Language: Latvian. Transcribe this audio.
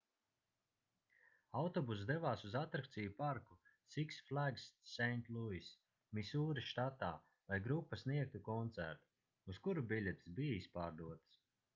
autobuss devās uz atrakciju parku six flags st louis misūri štatā lai grupa sniegtu koncertu uz kuru biļetes bija izpārdotas